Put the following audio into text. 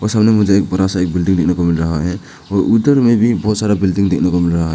सामने में मुझे एक बड़ा सा एक बिल्डिंग देखने को मिल रहा है और ऊपर में भी मुझे बहुत सारा बिल्डिंग देखने को मिल रहा है।